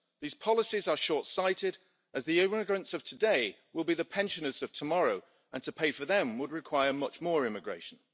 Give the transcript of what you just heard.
These policies are short sighted, as the immigrants of today will be the pensioners of tomorrow, and to pay for them would require much more immigration.